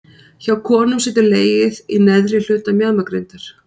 Hjá konum situr legið í neðri hluta mjaðmagrindar.